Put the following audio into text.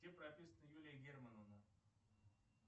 где прописана юлия германовна